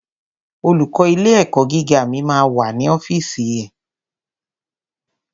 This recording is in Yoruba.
Olùkó ilé ẹ̀kọ́ gíga mi ma wà ní ọ́fìsì ẹ̀.